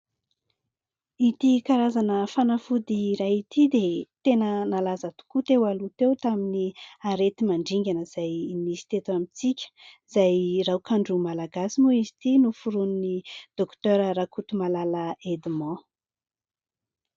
Ity karazana fanafody iray ity dia tena nalaza tokoa teo aloha teo tamin'ny areti-mandringana izay nisy teto amintsika, izay raokandro malagasy moa izy ity noforoan'i dokotera Rakotomalala Edmond.